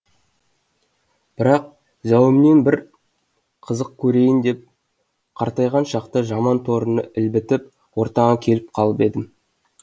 бірақ зәуіммен бір қызық көрейін деп қартайған шақта жаман торыны ілбітіп ортаңа келіп қалып едім